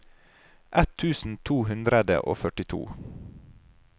ett tusen to hundre og førtito